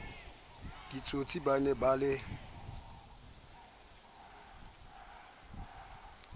ditsotsi ba ne ba le